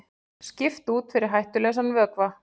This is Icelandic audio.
Skipt út fyrir hættulausan vökva